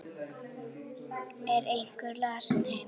Er einhver lasinn heima?